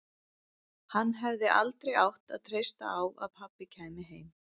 Hann hefði aldrei átt að treysta á að pabbi kæmi heim.